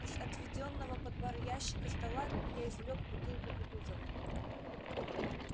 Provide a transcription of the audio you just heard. из отведённого под бар ящика стола я извлёк бутылку кутузова